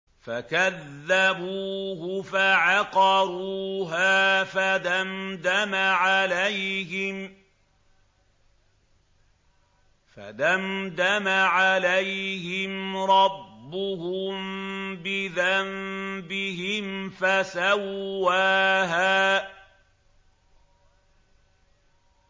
فَكَذَّبُوهُ فَعَقَرُوهَا فَدَمْدَمَ عَلَيْهِمْ رَبُّهُم بِذَنبِهِمْ فَسَوَّاهَا